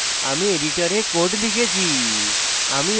আমি editor code লিখেছি